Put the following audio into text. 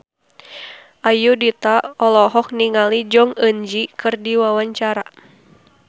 Ayudhita olohok ningali Jong Eun Ji keur diwawancara